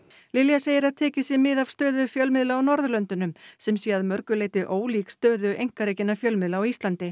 Lilja segir að tekið sé mið af stöðu fjölmiðla á Norðurlöndunum sem sé að mörgu leyti ólík stöðu einkarekinna fjölmiðla á Íslandi